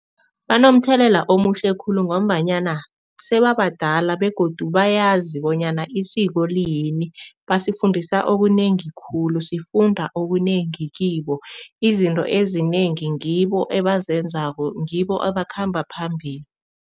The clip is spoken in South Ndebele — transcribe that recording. Banomthelela omuhle khulu ngombanyana sebabadala begodu bayazi bonyana isiko liyini. Basifundisa okunengi khulu, sifunda okunengi kibo, izinto ezinengi ngibo ebazenzako, ngibo abakhamba phambili.